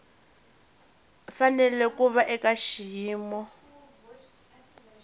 fanele ku va eka xiyimo